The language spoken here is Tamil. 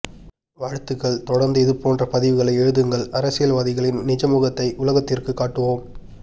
வாழ்த்துக்கள் தொடர்ந்து இது போன்ற பதிவுகளை எழுதுங்கள் அரசியல்வாதிகளின் நிஜ முகத்தை உலகத்திற்கு காட்டுவோம்